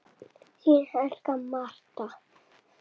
Þín Agla Marta.